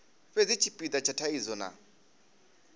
fhedzi tshipida tsha thaidzo na